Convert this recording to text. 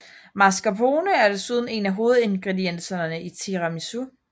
Mascarpone er desuden en af hovedingredienserne i tiramisu